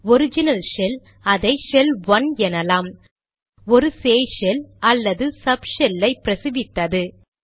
original shell அதை shell 1 எனலாம் ஒரு சேய் ஷெல் அல்லது சப் ஷெல் ஐ பிரசவித்தது